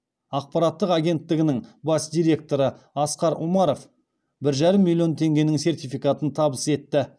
ақпараттық агенттігінің бас директоры асқар умаров бір жарым миллион теңгенің сертификатын табыс етті